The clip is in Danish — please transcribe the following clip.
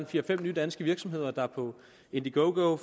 fire fem nye danske virksomheder der på indiegogo